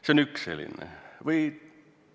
See on üks selline seisukoht.